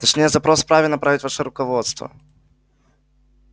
точнее запрос вправе направить ваше руководство